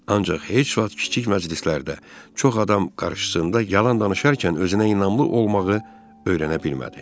Ancaq heç vaxt kiçik məclislərdə, çox adam qarşısında yalan danışarkən özünə inanmlı olmağı öyrənə bilmədi.